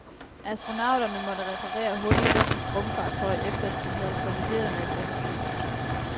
Astronauterne måtte reparere hul i russisk rumfartøj efter de havde kollideret med et rumskib.